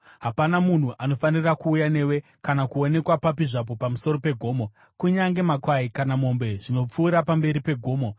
Hapana munhu anofanira kuuya newe kana kuonekwa papi zvapo pamusoro peGomo; kunyange makwai kana mombe zvinopfuura pamberi pegomo.”